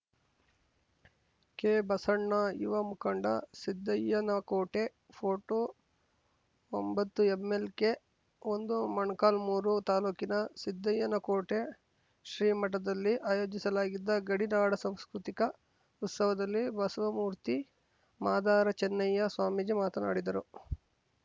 ಕೆಬಸಣ್ಣ ಯುವ ಮುಖಂಡ ಸಿದ್ದಯ್ಯನಕೋಟೆ ಫೋಟೋ ಒಂಬತ್ತುಎಂಎಲ್‌ಕೆ ಒಂದುಮೊಳಕಾಲ್ಮುರು ತಾಲೂಕಿನ ಸಿದ್ದಯ್ಯನ ಕೋಟೆ ಶ್ರೀ ಮಠದಲ್ಲಿ ಆಯೋಜಿಸಲಾಗಿದ್ದ ಗಡಿ ನಾಡ ಸಾಂಸ್ಕೃತಿಕ ಉತ್ಸವದಲ್ಲಿ ಬಸವ ಮೂರ್ತಿ ಮಾದಾರ ಚೆನ್ನಯ್ಯ ಸ್ವಾಮೀಜಿ ಮಾತನಾಡಿದರು